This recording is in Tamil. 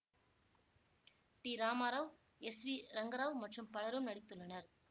D Ramarao S V Rangarao மற்றும் பலரும் நடித்துள்ளனர்